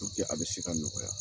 a be se ka nɔgɔya